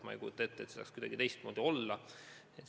Ma ei kujuta ette, et see saaks kuidagi teistmoodi olla.